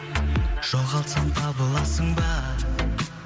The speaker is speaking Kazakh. жоғалтсам табыласың ба